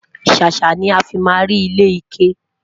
sàsá ní àfi má rí ilé ike